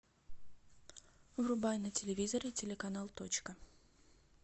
врубай на телевизоре телеканал точка